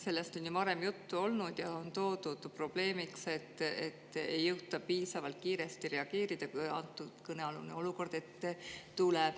Sellest on ju varem juttu olnud ja on esile toodud probleemi, et ei jõuta piisavalt kiiresti reageerida, kui kõnealune olukord ette tuleb.